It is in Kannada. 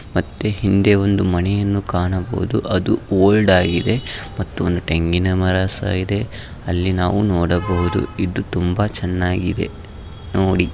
ಮತ್ತೆ ಹಿಂದೆ ಒಂದು ಮನೆಯನ್ನು ಕಾಣಬಹುದು ಅದು ಓಲ್ಡ್ ಆಗಿದೆ ಮತ್ತು ಒಂದು ತೆಂಗಿನ ಮಾರಸ ಇದೆ ಅಲ್ಲಿ ನಾವು ನೋಡಬಹುದು ಇದು ತುಂಬಾ ಚೆನ್ನಾಗಿದೆ ನೋಡಿ.